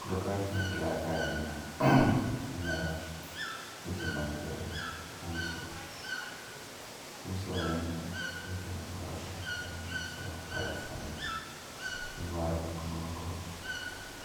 Koro ka gima endelea ka en en weche mag uso. Uso en weche mag dwaro pesa, iloso pesa ni. Iwaro gik moko